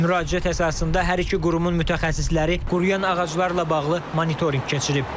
Müraciət əsasında hər iki qurumun mütəxəssisləri quruyan ağaclarla bağlı monitorinq keçirib.